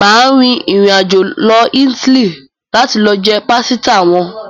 Mà á rin ìrìnàjò lọ Ítálì láti lọ jẹ pásítà wọn.